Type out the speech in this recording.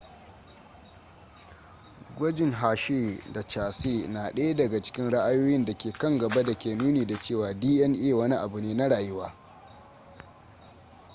gwajin hershey da chase na ɗaya daga cikin ra'ayoyin da ke kan gaba da ke nuni da cewa dna wani abu ne na rayuwa